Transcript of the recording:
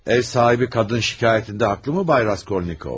Ev sahibi qadın şikayətində haqlı mı, Bay Raskolnikov?